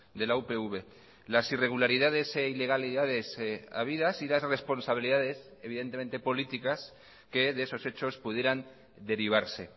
de la upv las irregularidades e ilegalidades habidas y las responsabilidades evidentemente políticas que de esos hechos pudieran derivarse